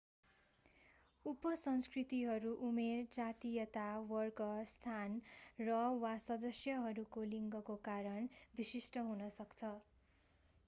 उप-संस्कृतिहरू उमेर जातीयता वर्ग स्थान र/वा सदस्यहरूको लिङ्गको कारण विशिष्ट हुन सक्छ।